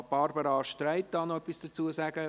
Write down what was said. Barbara Streit kann noch etwas dazu sagen.